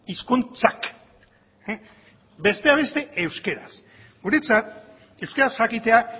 hizkuntzak besteak beste euskaraz guretzat euskaraz jakitea